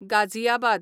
Ghaziabad